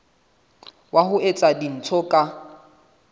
wa ho etsa dintho ka